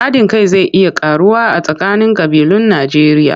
Haɗin kai zai iya ƙaruwa a tsakanin ƙabilun Najjeriya.